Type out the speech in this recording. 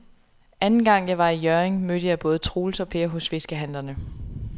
Anden gang jeg var i Hjørring, mødte jeg både Troels og Per hos fiskehandlerne.